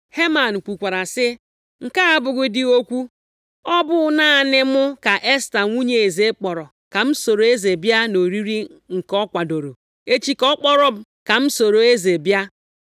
Heman kwukwara sị, “Nke a abụghị dị okwu, ọ bụ naanị mụ ka Esta nwunye eze, kpọrọ ka m soro eze bịa nʼoriri nke ọ kwadooro. Echi ka ọ kpọrọ m ka m soro eze bịa.